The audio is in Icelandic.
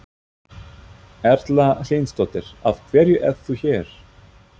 Erla Hlynsdóttir: Af hverju ert þú hér?